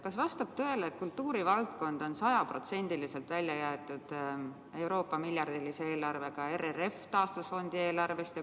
Kas vastab tõele, et kultuurivaldkond on sajaprotsendiliselt välja jäetud Euroopa miljardilise eelarvega taastusfondi RRF eelarvest?